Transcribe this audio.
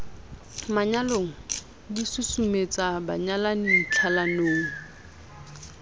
manyalong di susumetsa banyalani tlhalanong